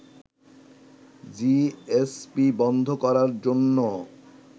GSP বন্ধ করার জন্য